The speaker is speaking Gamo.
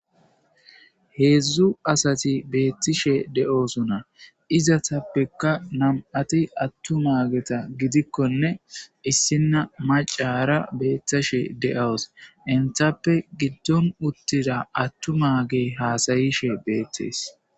Heezu asati beettishe de'suna izatappekka nam'ti attu maageta gidikkonne issinna macara beettishe de'wos inthappe giddon uttida attu maage haasayishe beettees.